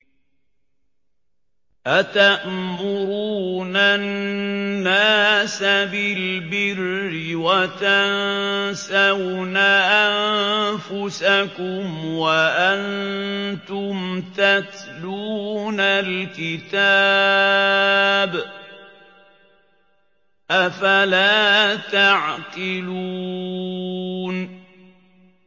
۞ أَتَأْمُرُونَ النَّاسَ بِالْبِرِّ وَتَنسَوْنَ أَنفُسَكُمْ وَأَنتُمْ تَتْلُونَ الْكِتَابَ ۚ أَفَلَا تَعْقِلُونَ